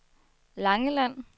Langeland